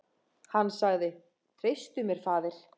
Hann sagði: Treystu mér, faðir.